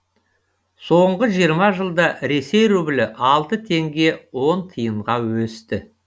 соңғы жиырма жылда ресей рублі алты теңге он тиынға өсті